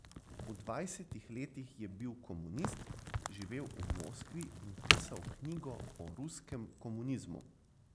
V dvajsetih letih je bil komunist, živel v Moskvi in pisal knjigo o ruskem komunizmu.